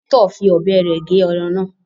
Victor fí ọbẹ rẹ gé ẹran náà